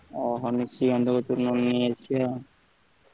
ଓହୋ ନିସିକାନ୍ତତ କତିରୁ ନହେଲେ ନେଇ ଆସିବା ଆଉ।